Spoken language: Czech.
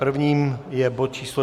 Prvním je bod číslo